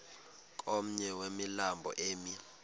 komnye wemilambo emi